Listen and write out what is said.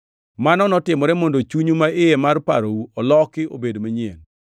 Mano notimore mondo chunyu maiye mar parou oloki obed manyien,